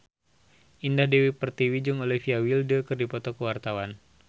Indah Dewi Pertiwi jeung Olivia Wilde keur dipoto ku wartawan